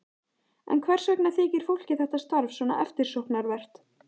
En hvers vegna þykir fólki þetta starf svona eftirsóknarvert?